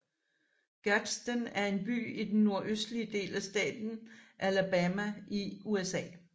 Gadsden er en by i den nordøstlige del af staten Alabama i USA